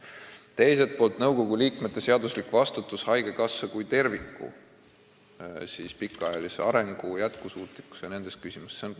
Teiselt poolt vastutavad nõukogu liikmed seaduse järgi haigekassa kui terviku pikaajalise arengu jätkusuutlikkuse ja teiste selliste küsimuste eest.